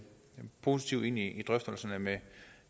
positivt ind i drøftelserne med